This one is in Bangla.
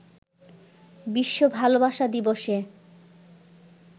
বিশ্ব ভালোবাসা দিবসে